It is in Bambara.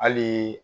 Hali